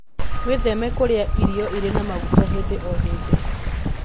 Wĩtheme kũrĩa irio irĩ na maguta hĩndĩ o hĩndĩ